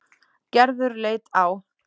Gerður leit á